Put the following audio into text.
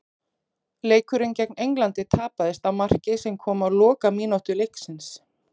Leikurinn gegn Englandi tapaðist á marki sem kom á lokamínútu leiksins.